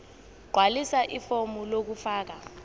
gqwalisa ifomu lokufaka